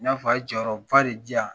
N y'a fɔ a ye jɔyɔrɔba de di yan